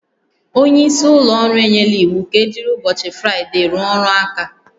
Onye isi ụlọ ọrụ enyela iwu ka ejiri ụbọchị Fraịde rụọ ọrụ aka